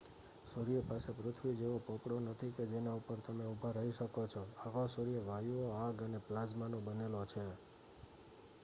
સૂર્ય પાસે પૃથ્વી જેવો પોપડો નથી કે જેના ઉપર તમે ઊભા રહી શકો છો આખો સૂર્ય વાયુઓ આગ અને પ્લાઝમાનો બનેલો છે